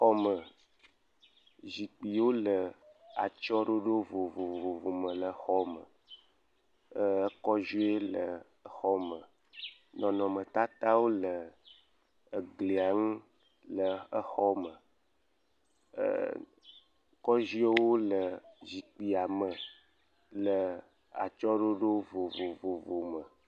Xɔme, zikpuiwo le atyɔ̃ɖoɖo vovovovowo me le xɔ me eer kɔdzoe le xɔme. Nɔnɔmetatawo le glia ŋu le xɔa me eer er kɔdzoewo le zikpuia me le atsyɔ̃ɖoɖo vovovome.